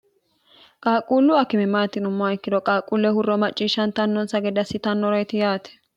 qaaqquullu akimimaatinummoa ikkiro qaaquulle hurro macciishshantannonsa ged assitannoro yiti yaate